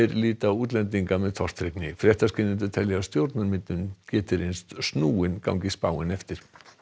líta á útlendinga með tortryggni fréttaskýrendur telja að stjórnarmyndun geti reynst snúin gangi spáin eftir